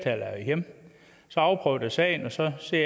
hjemme så afprøv da sagen og se